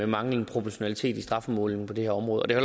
mangler proportionalitet i strafudmålingen på det her område det er